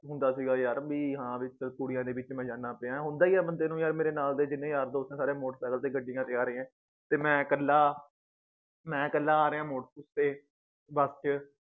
ਹੁੰਦਾ ਸੀਗਾ ਯਾਰ ਬੀ ਹਾਂ ਵਿਚ ਕੁੜੀਆਂ ਦੇ ਵਿਚ ਮੈ ਜਾਨਾ ਪਿਆਂ ਹੁੰਦਾ ਈ ਆ ਯਾਰ ਬੰਦੇ ਨੂੰ ਮੇਰੇ ਨਾਲ ਦੇ ਜਿੰਨੇ ਯਾਰ ਦੋਸਤ ਏ ਸਾਰੇ motor cycle ਤੇ ਗੱਡੀਆਂ ਤੇ ਆਰੇ ਏ ਤੇ ਮੈ ਕੱਲਾ ਮੈ ਕੱਲਾ ਆਰਿਆਂ ਮੋਟਰ ਤੇ ਬਸ ਚ